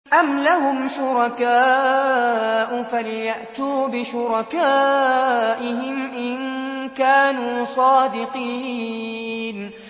أَمْ لَهُمْ شُرَكَاءُ فَلْيَأْتُوا بِشُرَكَائِهِمْ إِن كَانُوا صَادِقِينَ